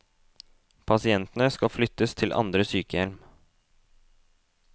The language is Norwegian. Pasientene skal flyttes til andre sykehjem.